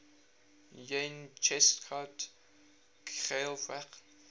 yn cheshaght ghailckagh